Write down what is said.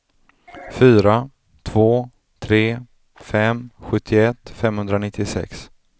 fyra två tre fem sjuttioett femhundranittiosex